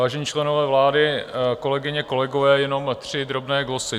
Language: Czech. Vážení členové vlády, kolegyně, kolegové, jenom tři drobné glosy.